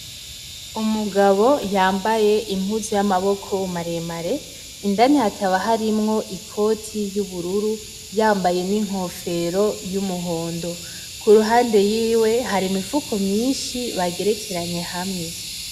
umugabo yambaye impuzu y’amaboko maremare indani hakaba harimwo ikoti y’ubururu, yambaye inkofero y’umuhondo kuruhande yiwe hari imifuko myishi bagerekeranye hamwe